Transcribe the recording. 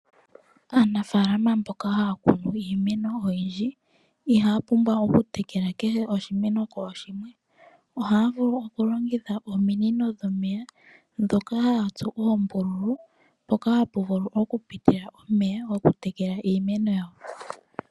Aanafaalama mboka haya kunu iimeno oyindji, iha ya pumbwa okutekeka kehe oshimeno kooshimwe. Ohaya vulu okulongitha ominino dhomeya ndhoka ha ya tsu oombululu mpoka hapu vulu oku pitila omeya goku tekela iimeno yawo.